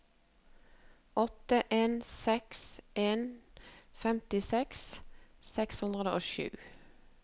åtte en seks en femtiseks seks hundre og sju